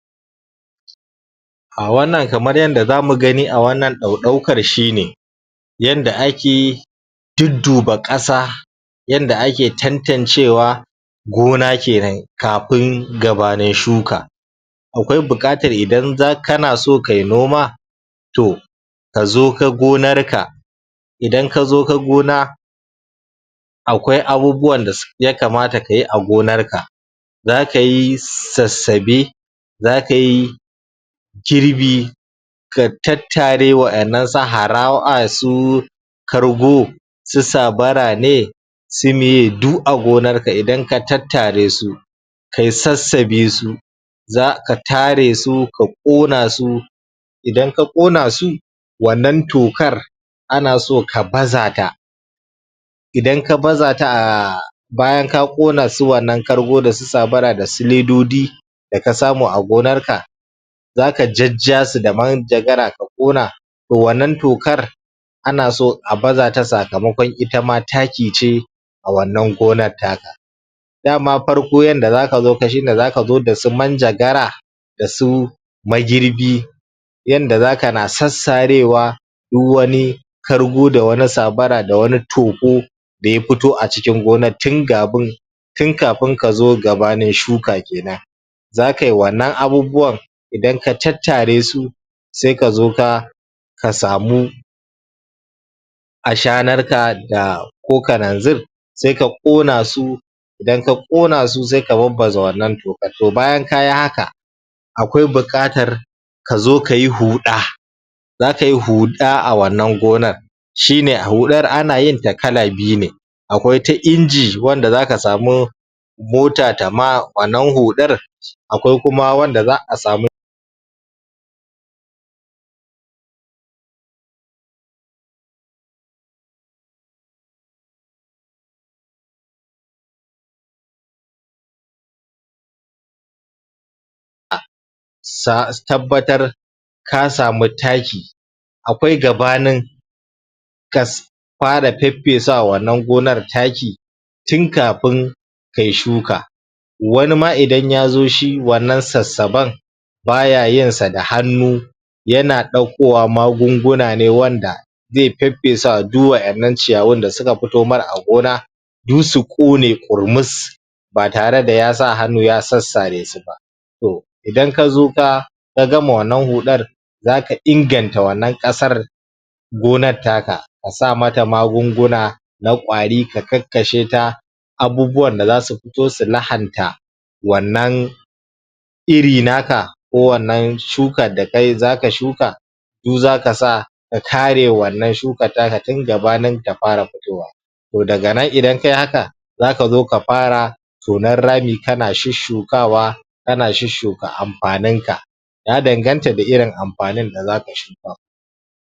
a wannan kamar yanda zamu gani a wannan ɗauɗaukar shine yanda ake dudduba ƙasa yanda ake tantancewa gona kenan kafin gabanin shuka akwai buƙatar idan za kana so kai noma toh kazo ka gonar ka idan kazo ka gona akwai abubuwan da yakamata kayi a gonar ka zaka yi sassabe zakayi kirbi ka tattare wa'innan su haraw ai su kargo su sabara ne su meye du a gonar ka idan ka tattare su kayi sassabe su zaka tare su ka ƙona su idan ka ƙona su wannan tokar ana so ka baza ta idan ka baza ta um bayan ka ƙona su wannan kargo dasu sabara dasu ledodi da ka samu a gonar ka zaka jajja su da manjagara ka ƙona to wannan tokar ana so a bazata sakamakon itama taki ce a wannan gonar taka dama farko yanda zaka zo ka shine zaka zo dasu manjagara dasu magirbi yanda zaka na sassarewa duk wani kargo da wani sabara da wani togo da ya fito a cikin gonan tin gabin tin kafin kazo gabanin shuka kenan za kai wannan abubuwan idan ka tattare su sai kazo ka ka samu ashanar ka da ko kananzir sai ka ƙona su idan ka ƙona su sai ka babbaza wannan tokan to bayan kayi haka akwai buƙatar kazo kayi huɗa zakayi huɗa a wannan gonar shine huɗar ana yinta kala biyu ne akwai ta inji wanda zaka samu mota ta ma wannan huɗar? akwai kuma wanda za'a samu a sa tabbatar ka samu taki akwai gabanin ka fara feffesa wa wannan gonar taki tin kafin kayi shuka wani ma idan yazo shi wannan sassaben baya yin sa da hannu yana ɗaukowa magunguna ne wanda zai feffesa wa du wa 'innan ciyawun da suka fito mar a gona du su ƙone ƙurmus ba tare da ya sa hannu ya sassare su ba toh idan kazo ka ka gama wannan huɗar zaka inganta wannan ƙasar gonar taka ka sa mata magunguna na ƙwari ka kakkashe ta abubuwan da zasu futo su lahanta wannan iri naka ko wannan shukar da kayi zaka shuka du zaka sa ka kare wannan shukan taka tin gabanin ta fara futowa to daga nan idan kayi haka zaka zo ka fara tonan rami kana shusshukawa kana shusshuka amfaninka ya danganta da irin amfanin da zaka shuka